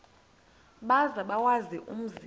maze bawazi umzi